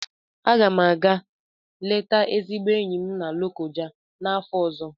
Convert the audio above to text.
A ga m àgá leta ezigbo enyi m na Lokoja n'afọ ọzọ